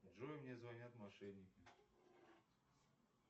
джой мне звонят мошенники